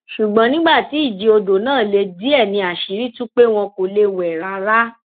ṣùgbọn nígbà tí ìjì odò náà le díẹ ni àṣírí tú pé wọn kò lè wẹ rárá